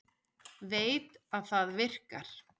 Veit að það virkar.